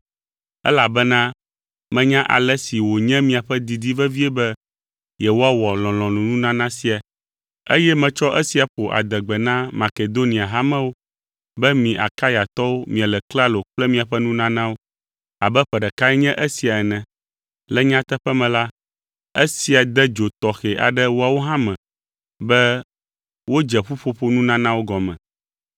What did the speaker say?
elabena menya ale si wònye miaƒe didi vevie be yewoawɔ lɔlɔ̃nununana sia, eye metsɔ esia ƒo adegbe na Makedonia hamewo be mi Akayatɔwo miele klalo kple miaƒe nunanawo abe ƒe ɖekae nye esia ene. Le nyateƒe me la, esia de dzo tɔxɛ aɖe woawo hã me be wodze ƒuƒoƒo nunanawo gɔme.